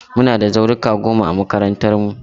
Muna da zauruka goma a makarantarmu.